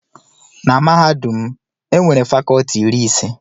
Na mahadum m, e nwere fakọlti iri ise.